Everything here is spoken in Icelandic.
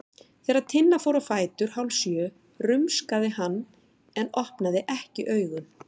Þegar Tinna fór á fætur hálfsjö rumskaði hann en opnaði ekki augun.